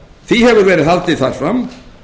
því hefur verið haldið þar fram